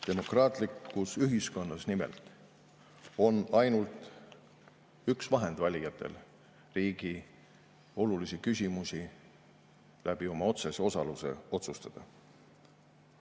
Demokraatlikus ühiskonnas nimelt on ainult üks vahend valijatel riigi olulisi küsimusi oma otsese osaluse kaudu otsustada.